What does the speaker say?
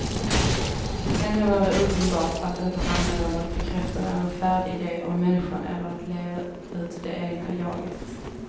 Ändå var det uppenbart att det inte handlade om att bekräfta någon färdig ide om människan eller att leva ut det egna jaget.